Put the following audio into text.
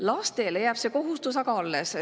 Lastele jääb see kohustus aga alles.